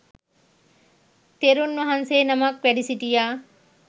තෙරුන් වහන්සේ නමක් වැඩසිටියා.